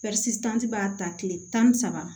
b'a ta kile tan ni saba